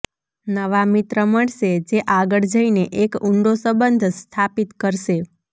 નવા મિત્ર મળશે જે આગળ જઈને એક ઊંડો સંબંધ સ્થાપિત કરશે